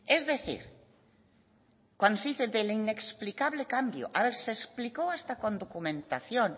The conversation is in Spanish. es decir cuando se dice del inexplicable cambio se explicó hasta con documentación